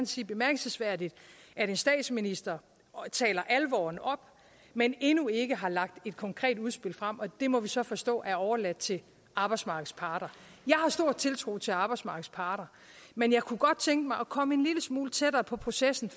sige bemærkelsesværdigt at en statsminister taler alvoren op men endnu ikke har lagt et konkret udspil frem og det må vi så forstå er overladt til arbejdsmarkedets parter jeg har stor tiltro til arbejdsmarkedets parter men jeg kunne godt tænke mig at komme en lille smule tættere på processen